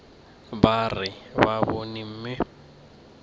ba re ba bone mme